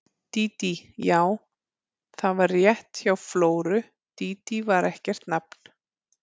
Dídí, já, það var rétt hjá Flóru, Dídí var ekkert nafn.